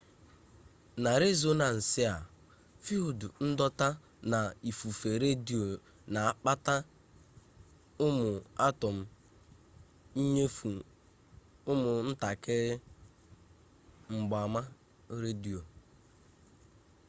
na rezọnansị a fild ndọta na ifufe redio na-akpata ụmụ atọm inyefụ ụmụ ntakịrị mgbaama redio